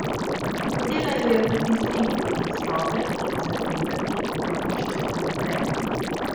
Hotela ju je potisniti iz sobe in zahtevati, da iščeta naprej.